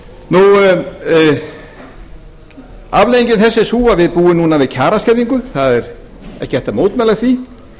nú afleiðing þess er sú að við búum núna við kjaraskerðingu það er ekki hægt að mótmæla því